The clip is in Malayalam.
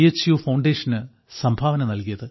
യു ഫൌണ്ടേഷന് സംഭാവന നൽകിയത്